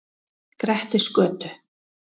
Grettisgötu